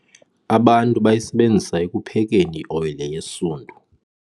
Abantu bayayisebenzisa ekuphekeni ioyile yesundu.